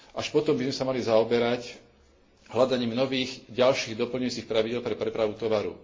Až potom by sme sa mali zaoberať hľadaním nových, ďalších doplňujúcich pravidiel pre prepravu tovaru.